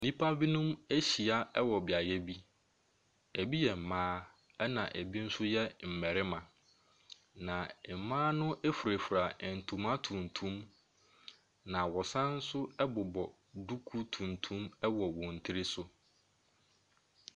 Nnipa binom ahyia wɔ beaeɛ bi. Ɛbi yɛ mmaa na bi nso yɛ mmarima. Na mmaa no furafura ntoma tuntum na wɔsan so bobɔ nduku tuntum wɔ wɔn tiri so.